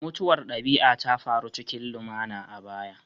Mutuwar dabi'a ta faru cikin lumana a baya